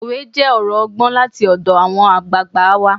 Òwe jẹ́ ọ̀rọ̀ ọgbọ́n láti ọ̀dọ̀ àwọn àgbààgbà wa